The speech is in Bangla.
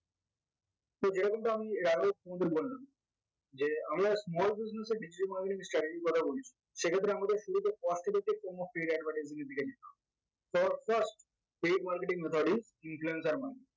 so যেরকমটা আমি এর আগেও তোমাদেরকে বললাম যে আমরা small business এর digital marketing strategy এর কথা সেক্ষেত্রে আমাদের শুধু যে cost effective advertising